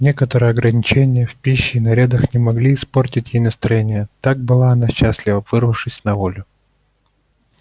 некоторые ограничения в пище и нарядах не могли испортить ей настроения так была она счастлива вырвавшись на волю